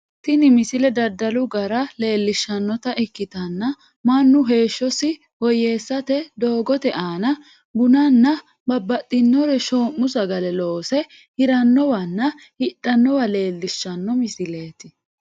Tinni misile dadalu garara leelishanota ikitanna Manu heeshosi woyeesirate dogoote aanna bunnanna bubaxitino shoo'mu sagale loose hiranowanna hidhanowa leelishano misileeti